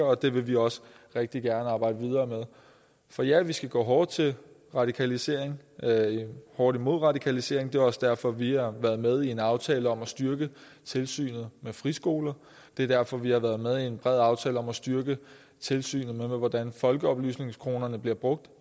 og det vil vi også rigtig gerne arbejde videre med for ja vi skal gå hårdt til radikalisering med en hurtig modradikalisering det er også derfor vi har været med i en aftale om at styrke tilsynet med friskoler det er derfor vi har været med i en bred aftale om at styrke tilsynet med hvordan folkeoplysningskronerne bliver brugt